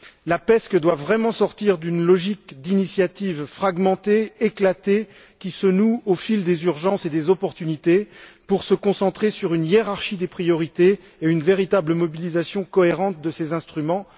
La PESC doit vraiment sortir d'une logique d'initiatives fragmentées, éclatées qui se nouent au fil des urgences et de l'actualité pour se concentrer sur une hiérarchie des priorités et une véritable mobilisation cohérente de tous ses instruments.